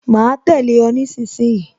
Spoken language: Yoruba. Ma tẹ̀lé o nísinsìnyí